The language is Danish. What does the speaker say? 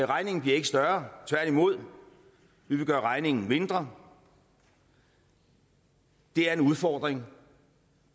regningen bliver ikke større tværtimod vi vil gøre regningen mindre det er en udfordring